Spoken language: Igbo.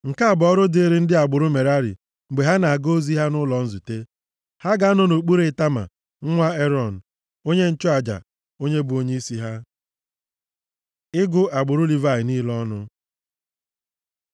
Nke a bụ ọrụ dịịrị ndị agbụrụ Merari mgbe ha na-aga ozi ha nʼụlọ nzute. Ha ga-anọ nʼokpuru Itama, nwa Erọn, onye nchụaja, onye bụ onyeisi ha.” Ịgụ agbụrụ Livayị niile ọnụ